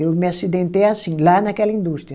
Eu me acidentei assim, lá naquela indústria.